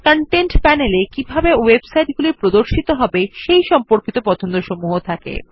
content panel এ কিভাবে ওয়েবসাইটগুলি প্রদর্শিত হবে সেই সম্পর্কিত পছন্দসমূহ থাকে